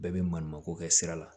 Bɛɛ bɛ maɲumanko kɛ sira la